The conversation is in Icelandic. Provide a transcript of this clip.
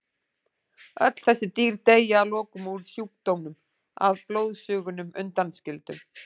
Öll þessi dýr deyja að lokum úr sjúkdómnum að blóðsugunum undanskildum.